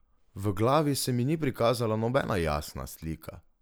V glavi se mi ni prikazala nobena jasna slika.